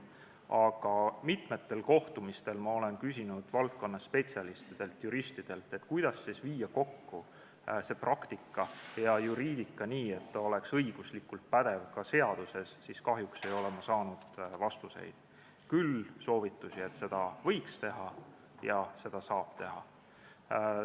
Aga mitmetel kohtumistel olen ma küsinud spetsialistidelt, juristidelt, kuidas siis viia kokku praktika ja juriidika nii, et see oleks õiguslikult pädevalt kirjas ka seaduses, kuid kahjuks ei ole ma saanud vastuseid, küll olen saanud soovitusi, et seda võiks teha, ja on ka öeldud, et seda saab teha.